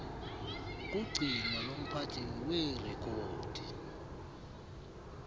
kugcino lomphathi weerekhodi